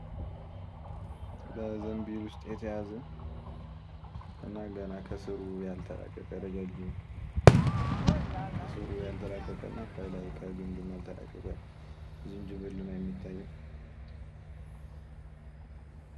በዘንቢል ውስጥ የተያዘ ገና ከስሩ ያልተላቀቀ ረጃጅም ከስሩ ያልተላቀቀ እና ከላይ ከግንዱም ያልተላቀቀ ዝንጅብል ነው የሚታየው።